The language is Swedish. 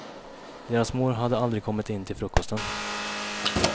Deras mor hade aldrig kommit in till frukosten.